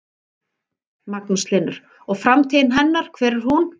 Magnús Hlynur: Og framtíð hennar, hver er hún?